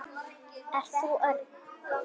Ert þú Örn?